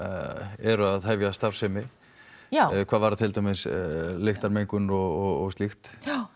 eru að hefja starfsemi já hvað varðar til dæmis lyktarmengun og slíkt